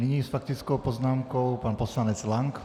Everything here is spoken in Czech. Nyní s faktickou poznámkou pan poslanec Lank.